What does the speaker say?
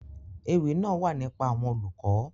Èwi naa wa nipa awọn olukọ.